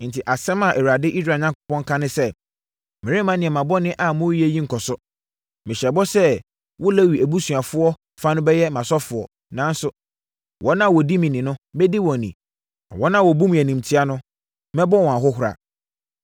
“Enti, asɛm a Awurade, Israel Onyankopɔn ka ne sɛ, ‘Meremma nneɛma bɔne a moreyɛ yi nkɔ so! Mehyɛɛ bɔ sɛ wo Lewi abusua fa no bɛyɛ mʼasɔfoɔ, nanso, wɔn a wɔdi me ni no, mɛdi wɔn ni; na wɔn a wɔbu me animtia no, mɛbɔ wɔn ahohora.